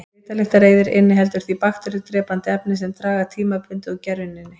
Svitalyktareyðir inniheldur því bakteríudrepandi efni sem draga tímabundið úr gerjuninni.